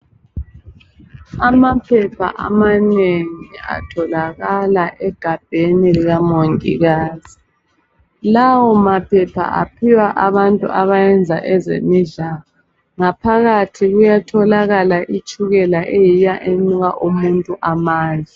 Amaphepha amanengi atholakala egabheni lika mongikazi, lawo maphepha aphiwa abantu abayenza ezemidlalo, ngaphakathi kuyatholakala itshukela eyiyo enika umuntu amandla.